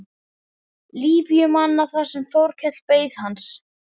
Líbíumanna þar sem Þórkell beið hans.